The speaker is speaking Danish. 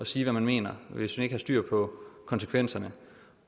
sige hvad man mener hvis man ikke har styr på konsekvenserne